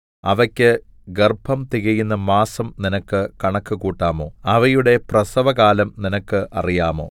അവയ്ക്ക് ഗർഭം തികയുന്ന മാസം നിനക്ക് കണക്ക് കൂട്ടാമോ അവയുടെ പ്രസവകാലം നിനക്ക് അറിയാമോ